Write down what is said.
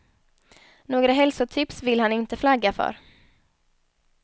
Några hälostips vill han inte flagga för.